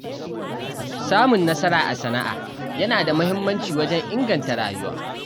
Samun nasara a sana’a yana da muhimmanci wajen inganta rayuwa.